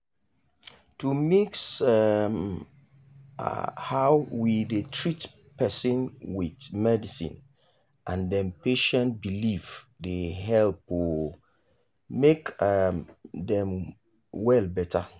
to mix um how we dey treat person with medicine and dem patient belief dey help um make um dem well better.